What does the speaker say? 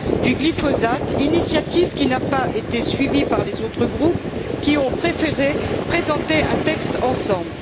du glyphosate, initiative qui n'a pas été suivie par les autres groupes, qui ont préféré présenter un texte ensemble.